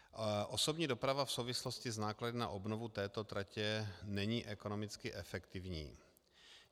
Osobní doprava v souvislosti s náklady na obnovu této tratě není ekonomicky efektivní.